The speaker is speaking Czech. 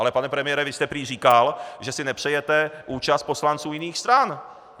Ale pane premiére, vy jste prý říkal, že si nepřejete účast poslanců jiných stran.